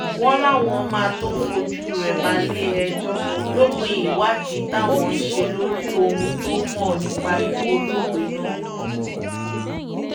wọ́n láwọn máa tóó fojú rẹ balẹ̀-ẹjọ́ lópin ìwádìí táwọn ń ṣe lórí ohun tó mọ̀ nípa ikú olóògbé náà